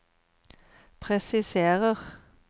presiserer